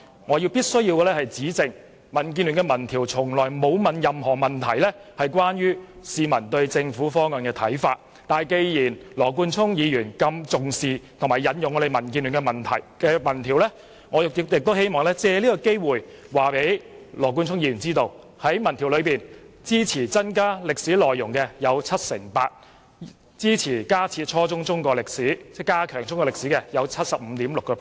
我必須指正，民建聯的民調從來沒有提出任何有關市民對政府方案看法的問題，但既然羅冠聰議員如此重視及引用民建聯的民調，我亦希望藉此機會告訴他，根據該項民調，有 78% 的受訪者支持增加中史課程內容，並有 75.6% 的受訪者支持在初中階段加強中史教育。